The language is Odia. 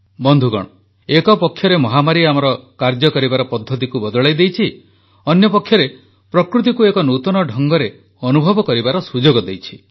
ବନ୍ଧୁଗଣ ଏକପକ୍ଷରେ ମହାମାରୀ ଆମର କାର୍ଯ୍ୟ କରିବାର ପଦ୍ଧତିକୁ ବଦଳାଇ ଦେଇଛି ଅନ୍ୟପକ୍ଷରେ ପ୍ରକୃତିକୁ ଏକ ନୂତନ ଢଙ୍ଗରେ ଅନୁଭବ କରିବାର ସୁଯୋଗ ଦେଇଛି